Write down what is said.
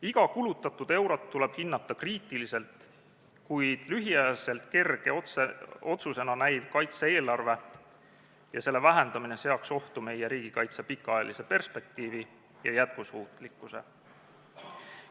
Iga kulutatud eurot tuleb hinnata kriitiliselt, kuid lühikeseks ajaks kerge otsusena tehtav kaitse-eelarve vähendamine seaks ohtu meie riigikaitse pikaajalise perspektiivi ja jätkusuutlikkuse.